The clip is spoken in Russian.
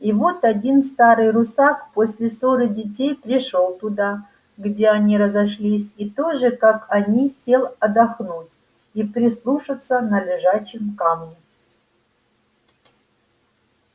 и вот один старый русак после ссоры детей пришёл туда где они разошлись и тоже как они сел отдохнуть и прислушаться на лежачем камне